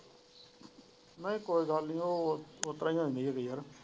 ਨਹੀਂ ਕੋਈ ਗੱਲ ਨਹੀਂ ਉਹ ਉਤਰਾ ਹੋਂਦੀ ਹੇਗੀ ਯਾਰ ।